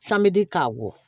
Sanbedi k'a wɔ